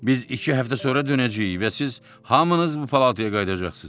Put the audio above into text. Biz iki həftə sonra dönəcəyik və siz hamınız bu palataya qayıdacaqsınız.